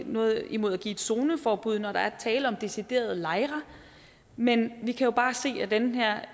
noget imod at give et zoneforbud når der er tale om deciderede lejre men vi kan jo bare se at den her